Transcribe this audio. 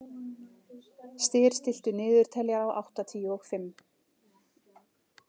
Styr, stilltu niðurteljara á áttatíu og fimm mínútur.